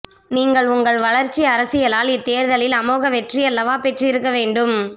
நீங்கள் உங்கள் வளர்ச்சி அரசியலால் இத்தேர்தலில் அமோக வெற்றியல்லவா பெற்றிருக்க வேண்டும்